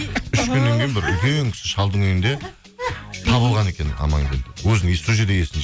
үш күннен кейін бір үлкен кісі шалдың үйінде табылған екен амангелді сол жерде есін